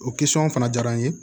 O fana jara n ye